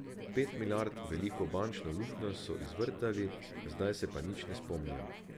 Pet milijard veliko bančno luknjo so izvrtali, zdaj se pa nič ne spomnijo.